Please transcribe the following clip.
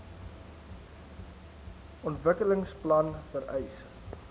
ontwikkelings plan vereis